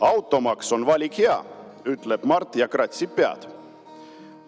"Automaks on valik hea," ütleb Mart ja kratsib pead.